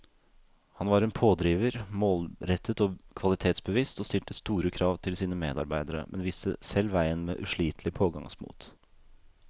Han var en pådriver, målrettet og kvalitetsbevisst, og stilte store krav til sine medarbeidere, men viste selv veien med uslitelig pågangsmot.